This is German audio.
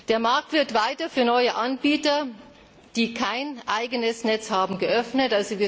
Der Markt wird weiter für neue Anbieter, die kein eigenes Netz haben, geöffnet.